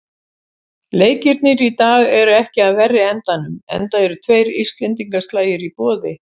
Leikirnir í dag eru ekki af verri endanum, enda eru tveir íslendingaslagir í boði.